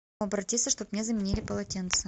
обратиться чтобы мне заменили полотенце